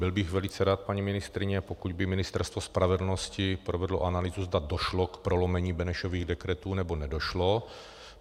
Byl bych velice rád, paní ministryně, pokud by Ministerstvo spravedlnosti provedlo analýzu, zda došlo k prolomení Benešových dekretů, nebo nedošlo.